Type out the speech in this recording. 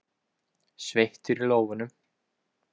Sveittur í lófunum.